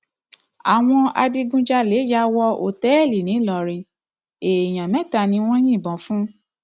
àwọn adigunjalè yà wọ òtẹẹlì ńìlọrin èèyàn mẹta ni wọn yìnbọn fún